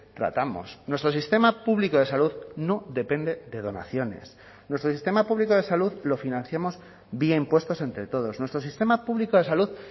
tratamos nuestro sistema público de salud no depende de donaciones nuestro sistema público de salud lo financiamos vía impuestos entre todos nuestro sistema público de salud